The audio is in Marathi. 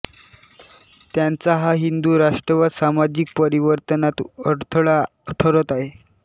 त्यांचा हा हिंदू राष्ट्रवाद सामाजिक परिवर्तनात अडथळा ठरत आहे